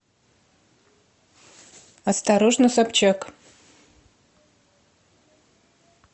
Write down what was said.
осторожно собчак